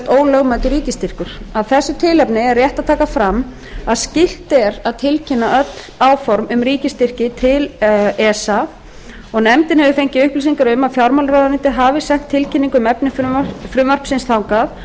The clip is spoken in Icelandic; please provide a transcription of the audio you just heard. ólögmætur ríkisstyrkur af þessu tilefni er rétt að taka fram að skylt er að tilkynna öll áform um ríkisstyrki til esa nefndin hefur fengið upplýsingar um að fjármálaráðuneytið hafi sent tilkynningu um efni frumvarpsins til þangað